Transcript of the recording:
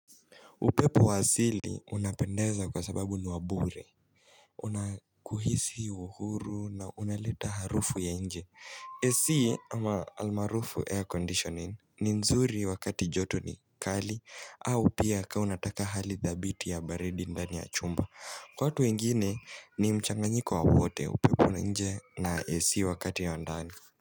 Upepo wa asili unapendeza kwa sababu ni wa bure Una kuhisi uhuru na unaleta harufu ya nje AC almaarufu air conditioning ni nzuri wakati joto ni kali au pia kama unataka hali dhabiti ya baridi ndani ya chumba Kwa watu wengine ni mchanganyiko wa wote upepo nje na AC wakati ya ndani.